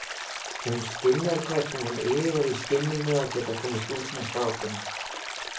Hún skynjar hvernig hann iðar í skinninu að geta komist út með strákunum.